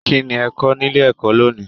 Kínní ẹ kọ nílé ẹ̀kọ́ lóni?